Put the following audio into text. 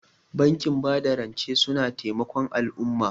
Bankin bada rance suna taimakon al'umma.